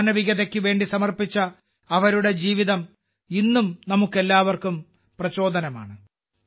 മാനവികതയ്ക്ക് വേണ്ടി സമർപ്പിച്ച അവരുടെ ജീവിതം ഇന്നും നമുക്കെല്ലാവർക്കും പ്രചോദനമാണ്